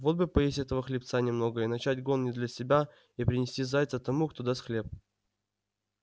вот бы поесть этого хлебца немного и начать гон не для себя и принести зайца тому кто даст хлеб